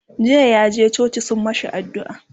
jiya yaje coci sun mashi addu'a